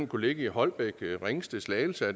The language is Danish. kunne ligge i holbæk ringsted slagelse